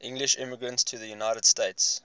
english immigrants to the united states